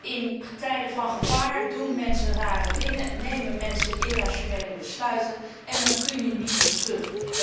In tijden van gevaar doen mensen rare dingen, nemen mensen irrationele besluiten en dan kun je niet meer terug.